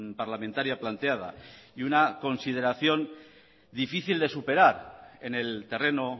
parlamentaria planteada y una consideración difícil de superar en el terreno